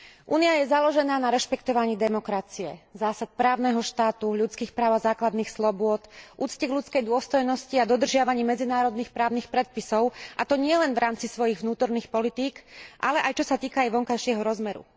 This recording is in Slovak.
Únia je založená na rešpektovaní demokracie, zásad právneho štátu, ľudských práv a základných slobôd, úcte k ľudskej dôstojnosti a dodržiavaní medzinárodných právnych predpisov, a to nielen v rámci svojich vnútorných politík, ale aj čo sa týka jej vonkajšieho rozmeru.